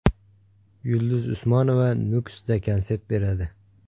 Yulduz Usmonova Nukusda konsert beradi.